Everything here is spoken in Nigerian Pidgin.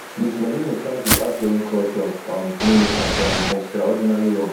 miss meloni thank di outgoing culture um minister for im extraordinary work